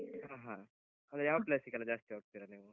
ಹಾ ಹಾ ಅದೇ ಯಾವ place ಗೆಲ್ಲ ಜಾಸ್ತಿ ಹೋಗ್ತೀರ ನೀವು?